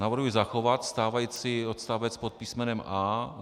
Navrhuji zachovat stávající odstavec pod písmenem a):